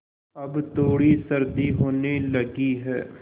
अब थोड़ी सर्दी होने लगी है